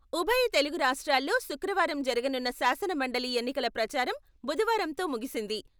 ఉభయ తెలుగు రాష్ట్రాల్లో శుక్రవారం జరగనున్న శాసనమండలి ఎన్నికల ప్రచారం బుధవారంతో ముగిసింది.